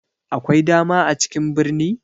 Akwai dama a cikin birni?